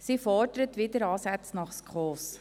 Er fordert wieder Ansätze nach SKOS.